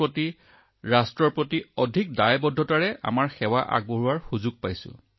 যেতিয়া ৰাষ্ট্ৰ মানৱতা সমাজে আমাক আমাৰ তুলনাত অধিক দায়িত্ব সহযোগিতা অধিক ক্ষমতা আৰু অধিক ক্ষমতা প্ৰদৰ্শন কৰিব বুলি আশা কৰে